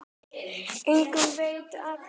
Enginn veit af hverju.